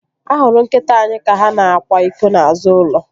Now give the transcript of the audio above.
A hụrụ nkịta anyị ka ha na-akwa iko n'azụ ulo